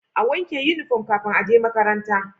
A wanke inufom kafin aje makaranta